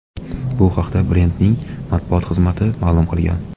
Bu haqda brendning matbuot xizmati ma’lum qilgan.